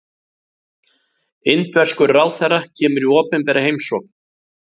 Indverskur ráðherra kemur í opinbera heimsókn